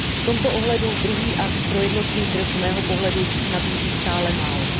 V tomto ohledu druhý akt pro jednotný trh z mého pohledu nabízí stále málo.